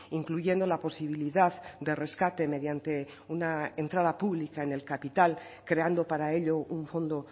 incluyendo la posibilidad de rescate mediante una entrada pública en el capital creando para ello un fondo